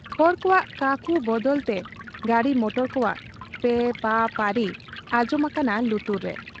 ᱦᱚᱲ ᱠᱚᱣᱟᱜ ᱠᱟᱠᱩ ᱵᱟᱫᱟᱞᱛᱮ ᱜᱟᱹᱰᱤ ᱢᱚᱴᱚᱨ ᱠᱚᱣᱟᱜ ᱯᱮᱸ ᱯᱟᱸ ᱯᱟᱹᱨᱤ ᱟᱸᱡᱚᱢ ᱟᱠᱟᱱᱟ ᱞᱩᱛᱩᱨ ᱨᱮ ᱾